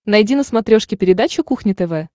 найди на смотрешке передачу кухня тв